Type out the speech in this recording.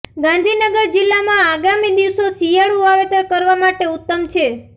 ગાંધીનગર જિલ્લામાં આગામી દિવસો શિયાળુ વાવેતર કરવા માટે ઉત્તમ છે